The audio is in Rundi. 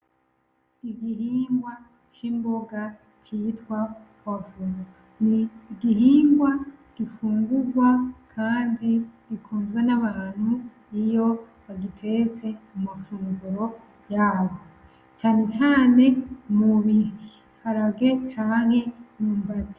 Igihingwa c'imbonga citwa pwavuro. Ni igihingwa gifungurwa kandi gikunzwe n'abantu iyo bagitetse mu mafunguro yabo cane cane mu biharage canke imyumbati.